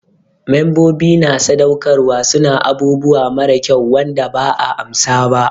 Membobi na sadaukarwa su na abubuwa mara kyau Wanda ba 'a amsa ba.